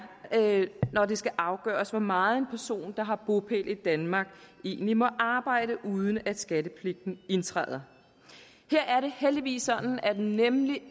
når det skal afgøres hvor meget en person der har bopæl i danmark egentlig må arbejde uden at skattepligten indtræder her er det heldigvis sådan at den